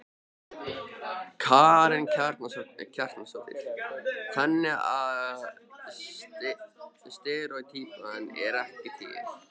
Karen Kjartansdóttir: Þannig að steríótýpan er ekki til?